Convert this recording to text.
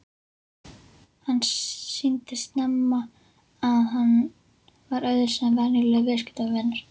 Hann sýndi snemma að hann var öðruvísi en venjulegur viðskiptavinur.